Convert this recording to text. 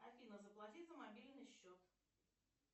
афина заплати за мобильный счет